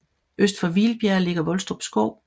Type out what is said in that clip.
Øst for Hvilbjerg ligger Volstrup Skov